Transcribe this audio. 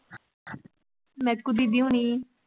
ਮੇਥਕਉ ਦੀਦੀ ਹੋਣੀ?